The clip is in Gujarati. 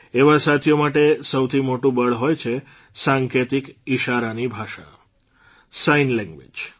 એવા સાથીઓ માટે સૌથી મોટું બળ હોય છે સાંકેતિક ઇશારાની ભાષા સાઇન લેંગ્વેઝ